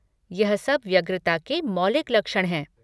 यह सब व्यग्रता के मौलिक लक्षण हैं।